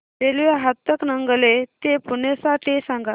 railway Hatkanangale ते पुणे साठी सांगा